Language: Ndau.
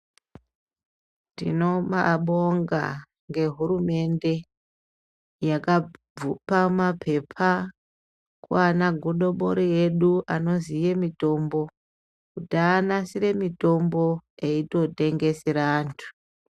Tinobabonga nehurumende yakabvuka mapepa kwana godobori edu anoziye mitombo kuti anasire mutombo eitotengesere antu.